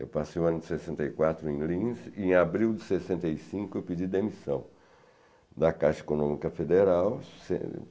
Eu passei o ano de sessenta e quatro em Lins e, em abril de sessenta e cinco, eu pedi demissão da Caixa Econômica Federal.